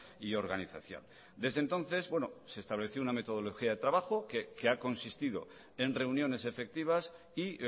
y organización desde entonces se estableció una metodología de trabajo que ha consistido en reuniones efectivas y